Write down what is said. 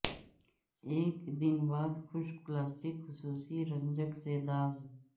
ایک دن بعد خشک پلاسٹر خصوصی رنجک سے داغ